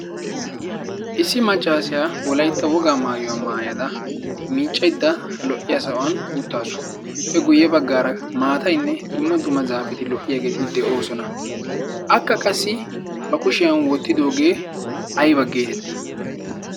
issi machchaasiyaa wolaitta wogaa maayuwaa maayada miicceidda lo77iya sa7uwan uttaasu pe guyye baggaara maatainne dumma duma zaafeti lo77iyaageeti de7oosona. akka qassi ba kushiyan woottidoogee aibaggeetettii?